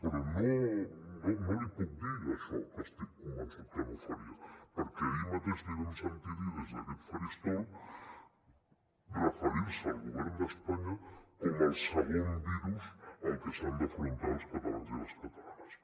però no l’hi puc dir això que estic convençut que no ho faria perquè ahir mateix li vam sentir dir des d’aquest faristol referir se al govern d’espanya com el segon virus al que s’han d’afrontar els catalans i les catalanes